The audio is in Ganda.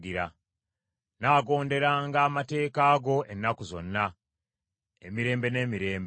Nnaagonderanga amateeka go ennaku zonna, emirembe n’emirembe.